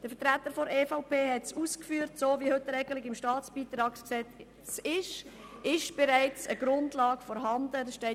Der Vertreter der EVP hat bereits darauf hingewiesen, dass mit der bestehenden Regelung im StBG bereits eine Grundlage vorhanden ist.